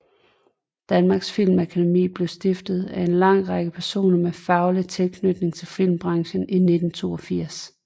Danmarks Film Akademi blev stiftet af en lang række personer med faglig tilknytning til filmbranchen i 1982